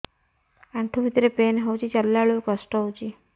ଆଣ୍ଠୁ ଭିତରେ ପେନ୍ ହଉଚି ଚାଲିଲା ବେଳକୁ କଷ୍ଟ ହଉଚି